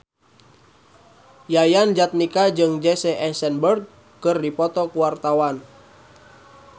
Yayan Jatnika jeung Jesse Eisenberg keur dipoto ku wartawan